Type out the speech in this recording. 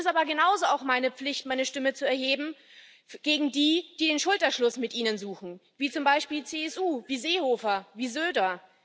Es ist aber genauso auch meine Pflicht, meine Stimme zu erheben gegen die, die den Schulterschluss mit Ihnen suchen, wie zum Beispiel die CSU, wie Seehofer, wie Söder.